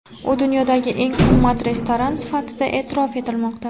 U dunyodagi eng qimmat restoran sifatida e’tirof etilmoqda.